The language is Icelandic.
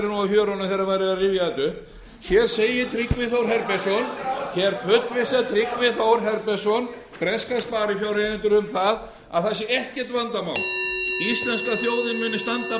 þetta upp hér segir tryggvi þór herbertsson hér fullvissar tryggi þór herbertsson breska sparifjáreigendur um að það sé ekkert vandamál íslenska þjóðin muni standa á bak við icesave reikninginn hann